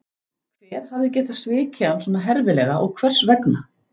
Hver hafði getað svikið hann svona herfilega og hvers vegna?